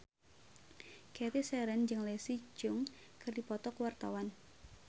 Cathy Sharon jeung Leslie Cheung keur dipoto ku wartawan